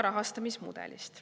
Rahastamismudelist.